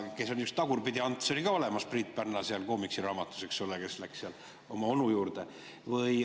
Tagurpidi-Ants oli ka olemas Priit Pärna koomiksiraamatus, eks ole, kes läks oma onu juurde.